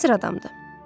Müasir adamdır.